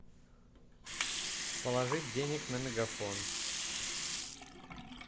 положить денег на мегафон